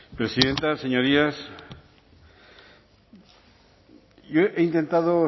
presidenta señorías yo he intentado